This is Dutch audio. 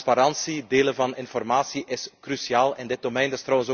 Transparantie en het delen van informatie is cruciaal op dit gebied.